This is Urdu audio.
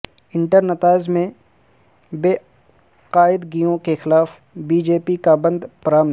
انٹر نتائج میں بے قاعدگیوں کے خلاف بی جے پی کا بند پرامن